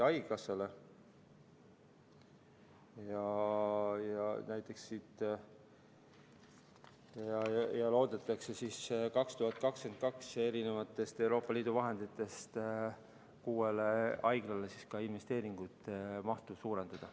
2022. aastal loodetakse Euroopa Liidu vahenditest kuue haigla investeeringute mahtu suurendada.